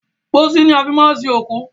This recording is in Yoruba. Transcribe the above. Pósí ni a fi máa ń sin òkú.